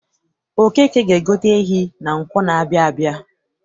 Okeke ga-egote ehi na Nkwọ na-abịa abịa.